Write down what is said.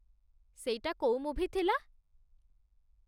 ସେଇଟା କୋଉ ମୁଭି ଥିଲା?